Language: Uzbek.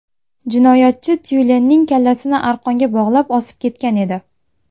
Jinoyatchi tyulenning kallasini arqonga bog‘lab, osib ketgan edi.